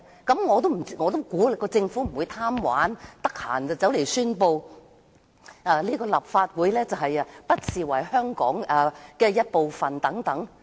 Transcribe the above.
據我估計，政府不會因為貪玩而隨便宣布不把立法會視為香港的一部分。